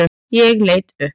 Ég leit upp.